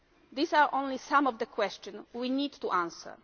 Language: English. These are only some of the questions we need to answer.